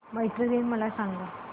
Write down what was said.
मैत्री दिन मला सांगा